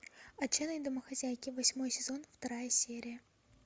отчаянные домохозяйки восьмой сезон вторая серия